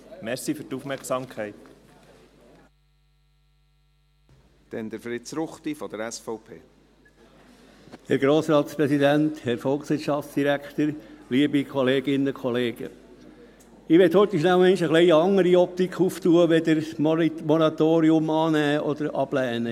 Ich möchte kurz noch einmal eine etwas andere Optik aufmachen als einfach jene, das Moratorium anzunehmen oder abzulehnen.